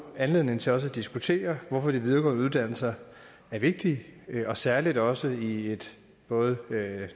anledning til også at diskutere hvorfor de videregående uddannelser er vigtige og særlig også i et både